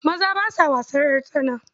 Maza ba sa wasan ƴartsana.